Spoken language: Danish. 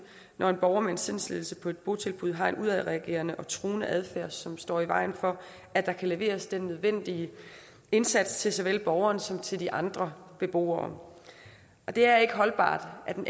når en borger med en sindslidelse på et botilbud har en udadreagerende og truende adfærd som står i vejen for at der kan leveres den nødvendige indsats til såvel borgeren som til de andre beboere det er ikke holdbart at en